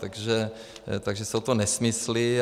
Takže jsou to nesmysly.